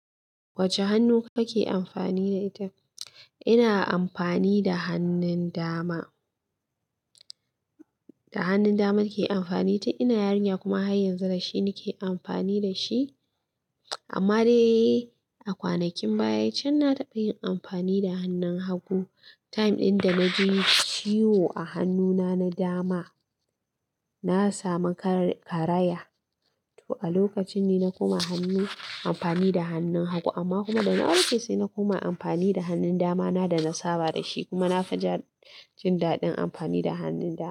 Wacce hannu kake amfani da ita? Ina amfani da hannun dama. Da hannun dama nake amfani tin ina yarinya kuma har yanzu da shi nake amfani da shi. Amma dai a kwanakin baya can na taɓa yin amfani da hannun hagu. Time ɗin da na ji ciwo a hannuna na dama na sami karaya. To a lokacin ne na koma hannu amfani da hannun hagu, amma kuma da na warke sai na koma amfani da hannun dama na da na saba da shi. Kuma na fi jin daɗin amfani da hannun dama.